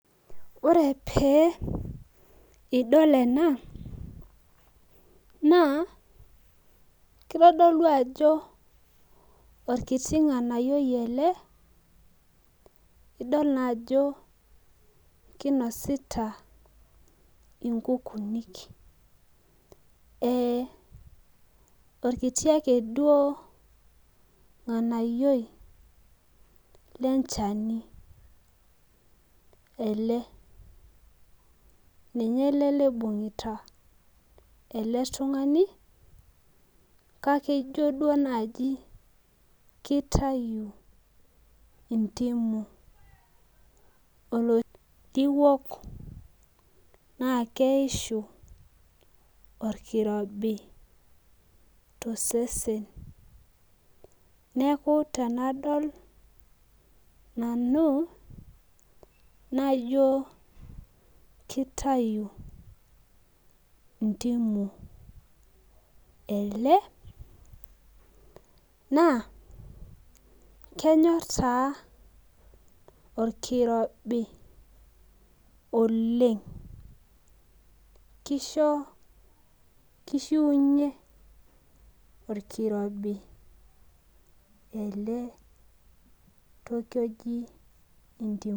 Ore pee idol ena, naa, kitodolu ajo orkiti ng'anayioi ele, idol naajo kinosita inkukuuni. Orkiti ake duo ng'anayioi lenchani ele. Ninye libung'ita ele tung'ani, kake ijo duo naji kitayu entimu, olotiwok naa keishu orkirobi tosesen. Neeku tenadol nanu, naijo kitayu intimu ele, naa kenyor taa orkirobi oleng. Kisho kishiunye orkirobi ele toki oji entimu.